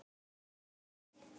Finnur sagðist gera það.